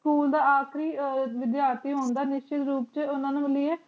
school ਦਾ ਆਖਰੀ ਵੇਦਾਰਤੇ ਹੁੰਦਾ ਨ੍ਸ਼੍ਟਰ ਰੂਪ ਚ